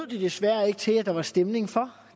desværre ikke til at der var stemning for